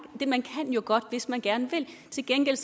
man kan jo godt hvis man gerne vil til gengæld